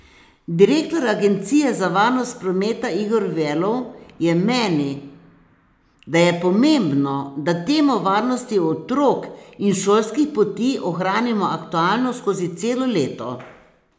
Direktor agencije za varnost prometa Igor Velov je meni, da je pomembno, da temo varnosti otrok in šolskih poti ohranimo aktualno skozi celo leto.